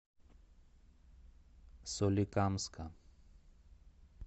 соликамска